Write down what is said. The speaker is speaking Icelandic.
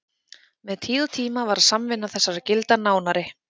Með tíð og tíma varð samvinna þessara gilda nánari.